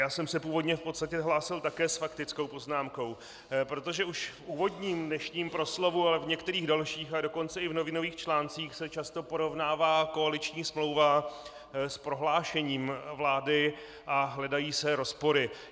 Já jsem se původně v podstatě hlásil také s faktickou poznámkou, protože už v úvodním dnešním proslovu, ale v některých dalších, a dokonce i v novinových článcích se často porovnává koaliční smlouva s prohlášením vlády a hledají se rozpory.